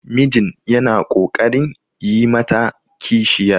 mijin yana ƙoƙarin yi mata kishiyar